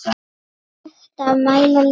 Hægt að mæla list?